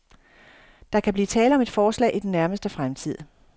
Der kan blive tale om et forslag i den nærmeste fremtid.